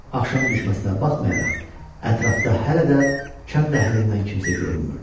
Axşam düşməsinə baxmayaraq, ətrafda hələ də kənd əhlindən kimsə görünmürdü.